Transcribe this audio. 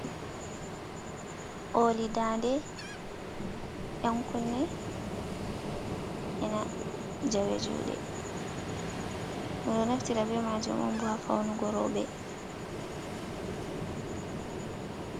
Ooli dande, ɗankunne, ena jawe juuɗe. Ɓe ɗo naftira be maajum on bo, haa fawnugo rowɓe.